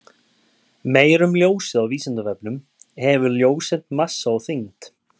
Meira um ljósið á Vísindavefnum: Hefur ljóseind massa og þyngd?